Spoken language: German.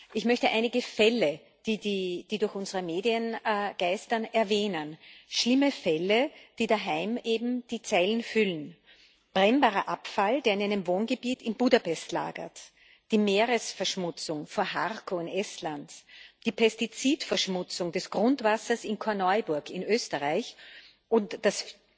Ich möchte einige Fälle, die durch unsere Medien geistern, erwähnen schlimme Fälle, die daheim eben die Zeitungen füllen brennbarer Abfall, der in einem Wohngebiet in Budapest lagert, die Meeresverschmutzung vor Harku in Estland, die Pestizidverschmutzung des Grundwassers in Korneuburg in Österreich und das